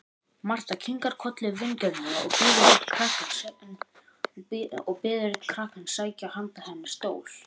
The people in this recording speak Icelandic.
Marta kinkar kolli vingjarnlega og biður einn krakkann sækja handa henni stól.